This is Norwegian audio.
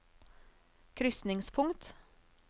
krysningspunkt